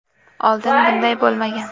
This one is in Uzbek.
Oldin bunday bo‘lmagan.